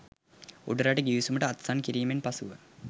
උඩරට ගිවිසුමට අත්සන් කිරීමෙන් පසුව